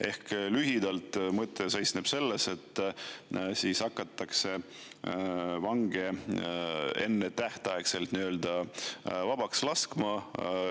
Ehk lühidalt, mõte seisneb selles, et siis hakatakse vange ennetähtaegselt vabaks laskma.